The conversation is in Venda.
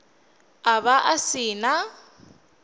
a vha a si na